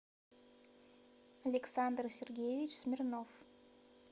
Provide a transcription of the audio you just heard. александр сергеевич смирнов